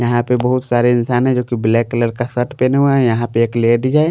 यहां पे बहुत सारे इंसान है जो कि ब्लैक कलर का सट पहने हुए हैं यहां पे एक लेडीज है।